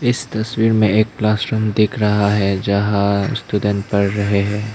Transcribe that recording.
इस तस्वीर में एक क्लासरूम दिख रहा है जहां स्टूडेंट पढ़ रहे हैं।